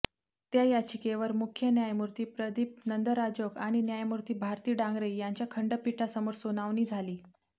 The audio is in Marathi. त्या याचिकेवर मुख्य न्यायमूर्ती प्रदिप नंदराजोग आणि न्यायमूर्ती भारती डांगरे यांच्याखंडपीठा समोर सुनावणी झाली